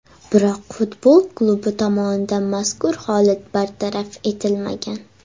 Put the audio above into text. Biroq futbol klubi tomonidan mazkur holat bartaraf etilmagan.